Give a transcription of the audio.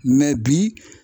bi